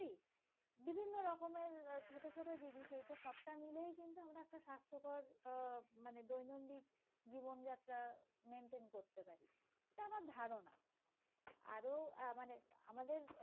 আহ মানে দৈনন্দিন জীবনযাত্রা maintain করতে পারি। এটা আমার ধারণা। আরো আহ মানে আমাদের